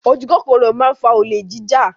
Ojúkòkòrò máa ń fa olè jíjà.